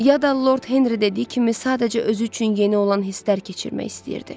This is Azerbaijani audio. Ya da Lord Henri dediyi kimi sadəcə özü üçün yeni olan hisslər keçirmək istəyirdi.